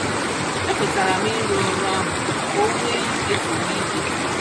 Ekwetaram ịrụ ọrụ ahụ ka onwee ike zuru ike